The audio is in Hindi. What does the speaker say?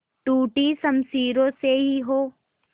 टूटी शमशीरों से ही हो